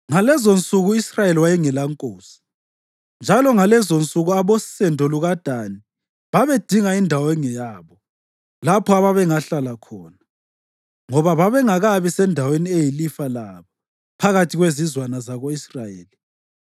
Ngalezonsuku u-Israyeli wayengelankosi. Njalo ngalezonsuku abosendo lukaDani babedinga indawo engeyabo, lapho ababengahlala khona, ngoba babengakabi sendaweni eyilifa labo phakathi kwezizwana zako-Israyeli.